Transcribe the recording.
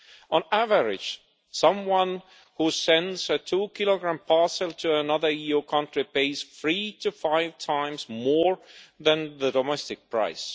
On average, someone who sends a two kilogram parcel to another EU country pays three to five times more than the domestic price.